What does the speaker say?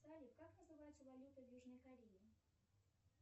салют как называется валюта в южной корее